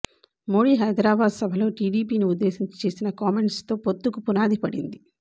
మోడీ హైదరాబాద్ సభలో టీడీపీని ఉద్దేశించి చేసిన కామెంట్స్ తో పొత్తుకు పునాది పడింది